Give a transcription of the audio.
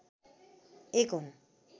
एक हुन्।